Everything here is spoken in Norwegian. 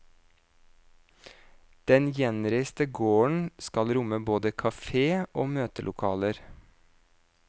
Den gjenreiste gården skal romme både kafé og møtelokaler.